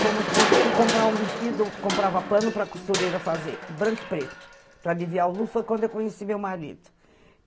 Fomos, fui comprar um vestido, comprava pano para a costureira fazer, branco e preto, para aliviar o luto, foi quando eu conheci meu marido.